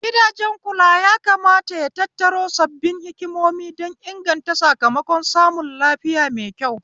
Gidan kula ya kamata ya tattaro sabbin hikimomi don inganta sakamakon samun lafiya maikyau